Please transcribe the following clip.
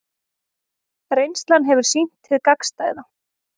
Reynslan hefur sýnt hið gagnstæða